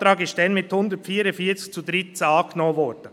Dieser Antrag wurde damals mit 144 zu 13 Stimmen angenommen.